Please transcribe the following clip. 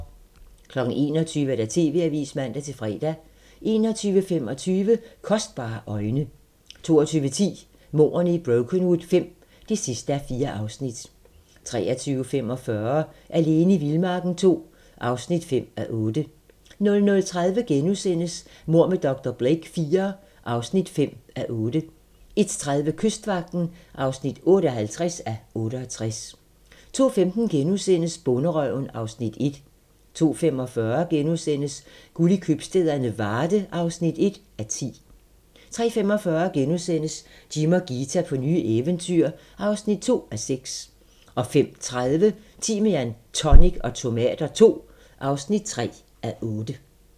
21:00: TV-avisen (man-fre) 21:25: Kostbare øjne 22:10: Mordene i Brokenwood V (4:4) 23:45: Alene i vildmarken II (5:8) 00:30: Mord med dr. Blake IV (5:8)* 01:30: Kystvagten (58:68) 02:15: Bonderøven (Afs. 1)* 02:45: Guld i købstæderne - Varde (1:10)* 03:45: Jim og Ghita på nye eventyr (2:6)* 05:30: Timian, tonic og tomater II (3:8)